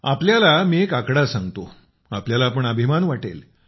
आपल्याला मी एक आकडा सांगतो आपल्याला पण अभिमान वाटेल